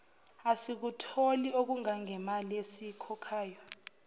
asikutholi okungangemali esiyikhokhayo